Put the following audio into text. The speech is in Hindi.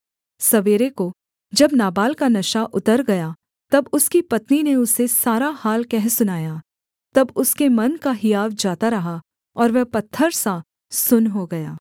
सवेरे को जब नाबाल का नशा उतर गया तब उसकी पत्नी ने उसे सारा हाल कह सुनाया तब उसके मन का हियाव जाता रहा और वह पत्थर सा सुन्न हो गया